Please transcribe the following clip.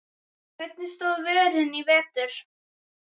Hvernig stóð vörnin í vetur?